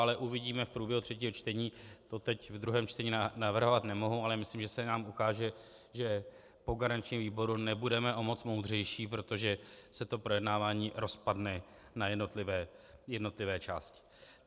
Ale uvidíme v průběhu třetího čtení, to teď v druhém čtení navrhovat nemohu, ale myslím, že se nám ukáže, že po garančním výboru nebudeme o moc moudřejší, protože se to projednávání rozpadne na jednotlivé části.